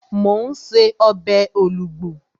Mò ún ṣe ọbẹ̀ olugbu